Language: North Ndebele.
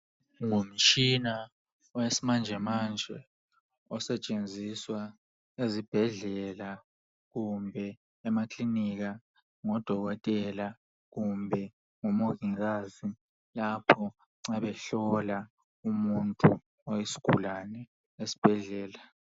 Ngumtshina owesimanjemanje osetshenziswa ezibhedlela kumbe emaklinika ngodokotela kumbe ngomongikazi lapho nxa behlola umuntu oyisgulane esbhedlela.